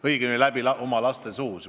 Õigemini tegid seda läbi oma laste suu.